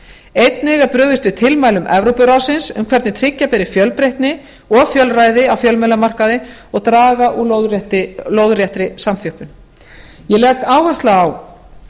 einnig er brugðist við tilmælum evrópuráðsins um hvernig tryggja beri fjölbreytni og fjölræði á fjölmiðlamarkaði og draga úr lóðréttri samþjöppun ég legg áherslu á